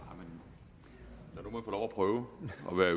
at det rører